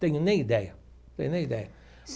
Tenho nem ideia, tenho nem ideia.